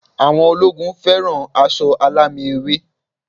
Àwọn ológun fẹ́ràn aṣọ alámì ewé